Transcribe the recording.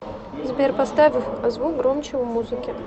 сбер поставь звук громче у музыки